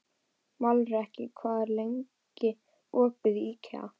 Melrakki, hvað er lengi opið í IKEA?